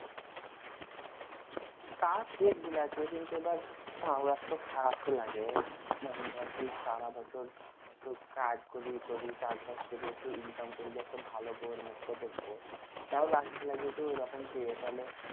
তা ঠিক বুলাচ্ছি কিন্তু এবার তাও একটু খারাপ তো লাগে মানে ধর যে সারা বছর একটু কাজ করি এ করি চাষ বাস করি একটু income করি যে একটু ভালো বৌর মুখ ত দেখবো তাও লাগবেনা ঐরকম পেলে তালে